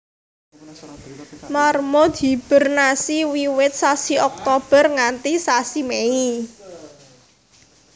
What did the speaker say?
Marmut hibernasi wiwit sasi Oktober nganti sasi Mei